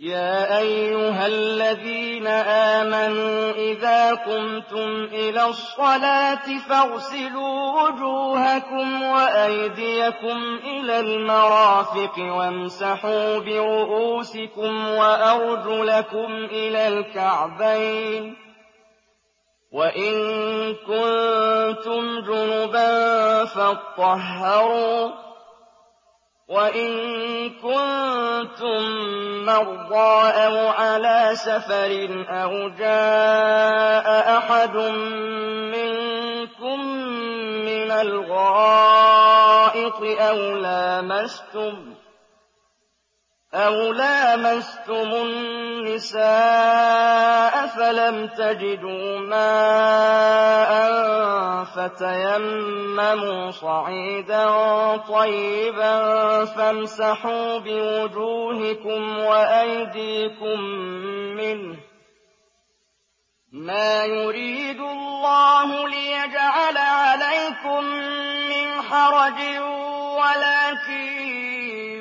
يَا أَيُّهَا الَّذِينَ آمَنُوا إِذَا قُمْتُمْ إِلَى الصَّلَاةِ فَاغْسِلُوا وُجُوهَكُمْ وَأَيْدِيَكُمْ إِلَى الْمَرَافِقِ وَامْسَحُوا بِرُءُوسِكُمْ وَأَرْجُلَكُمْ إِلَى الْكَعْبَيْنِ ۚ وَإِن كُنتُمْ جُنُبًا فَاطَّهَّرُوا ۚ وَإِن كُنتُم مَّرْضَىٰ أَوْ عَلَىٰ سَفَرٍ أَوْ جَاءَ أَحَدٌ مِّنكُم مِّنَ الْغَائِطِ أَوْ لَامَسْتُمُ النِّسَاءَ فَلَمْ تَجِدُوا مَاءً فَتَيَمَّمُوا صَعِيدًا طَيِّبًا فَامْسَحُوا بِوُجُوهِكُمْ وَأَيْدِيكُم مِّنْهُ ۚ مَا يُرِيدُ اللَّهُ لِيَجْعَلَ عَلَيْكُم مِّنْ حَرَجٍ وَلَٰكِن